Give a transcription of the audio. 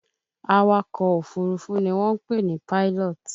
Awakọ̀ Òfurufú ni wọ́n ń pè ní pilot